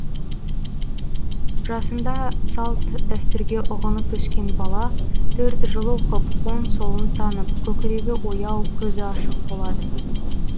жасында салт дәстүрге ұғынып өскен бала төрт жыл оқып оң солын танып көкірегі ояу көзі ашық болады